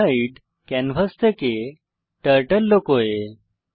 sprite hide canvas থেকে turtle লুকোয়